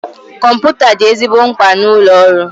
Kọmputa dị ezigbo mkpa na ụlọ ọrụ